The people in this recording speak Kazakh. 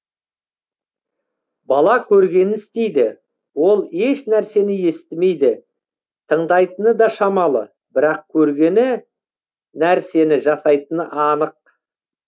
бала көргенін істейді ол ешнәрсені естімейді тыңдайтыны да шамалы бірақ көргені нәрсені жасайтыны анық